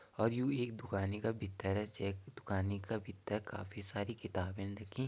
अर यू एक दुकानि का भितर च दुकानि का भितर काफी सारी किताबन रखीं।